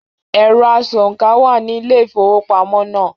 “Ẹ̀rọ asòǹkà” wà ní Ilé-ìfowópamọ́ náà.